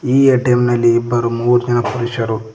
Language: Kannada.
ಈ ಎ_ಟಿ_ಎಂ ನಲ್ಲಿ ಇಬ್ಬರು ಮೂರು ಜನ ಪುರುಷರು--